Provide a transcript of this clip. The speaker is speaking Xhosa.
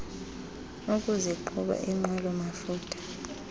ukusiqhuba yinqwelo mafutha